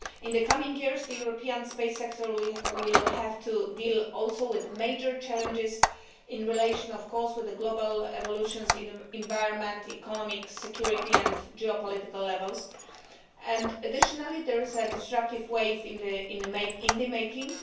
In the coming years, the European space sector will also have to deal with major challenges in relation, of course, with global evolutions on environmental, economic, security and geopolitical levels, and additionally there is a disruptive wave in the making.